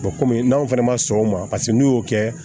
kɔmi n'aw fɛnɛ ma sɔn o ma paseke n'u y'o kɛ